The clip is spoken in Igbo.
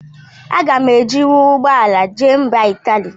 Aga m ejinwu ụgbọala jee mba Italy?